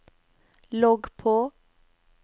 logg på